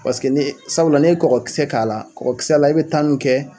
Paseke n'e sabula n'i ye kɔgɔkisɛ k'a la kɔgɔkisɛ la i bɛ mun kɛ